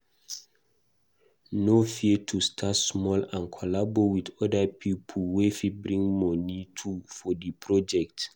No fear to start small and collabo with other pipo wey fit bring moni too for project